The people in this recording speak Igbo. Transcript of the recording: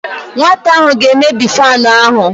Nwata ahụ ga-emebi fanụ ahụ.